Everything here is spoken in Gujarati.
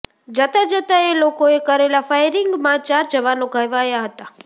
જતાં જતાં એ લોકોએ કરેલા ફાયરીંગમાં ચાર જવાનો ઘવાયા હતા